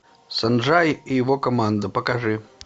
санджай и его команда покажи